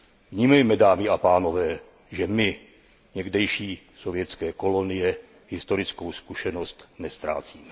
Vnímejme, dámy a pánové, že my, někdejší sovětské kolonie, historickou zkušenost neztrácíme.